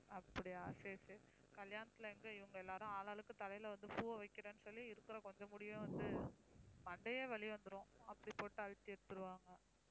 அப்படியா சரி சரி கல்யாணத்துல எங்க இவங்க எல்லாரும் ஆளாளுக்கு தலையில வந்து பூவை வைக்கிறேன்னு சொல்லி இருக்கிற கொஞ்ச முடியையும் வந்து மண்டையே வலி வந்துரும் அப்படி போட்டு அழுத்தி எடுத்துடுவாங்க